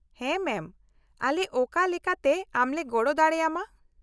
ᱦᱮᱸ ᱢᱮᱢ , ᱟᱞᱮ ᱚᱠᱟ ᱞᱮᱠᱟᱛᱮ ᱟᱢ ᱞᱮ ᱜᱚᱲᱚ ᱫᱟᱲᱮ ᱟᱢᱟ ?